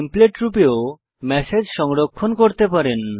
template রূপেও message সংরক্ষণ করতে পারেন